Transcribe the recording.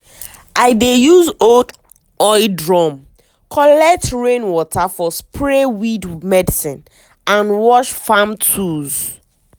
i dey use old oil drum collect rain water for spray weed medicine and wash farm tools.